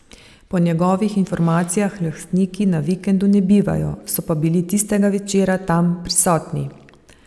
Po njegovih informacijah lastniki na vikendu ne bivajo, so pa bili tistega večera tam prisotni.